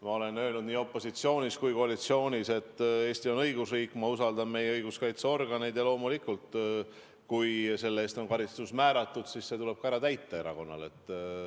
Ma olen öelnud nii opositsioonis kui ka koalitsioonis, et Eesti on õigusriik, ma usaldan meie õiguskaitseorganeid ja loomulikult, kui on karistus määratud, siis see tuleb erakonnal ka ära kanda.